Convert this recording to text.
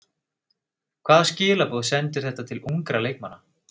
Hvaða skilaboð sendir þetta til ungra leikmanna?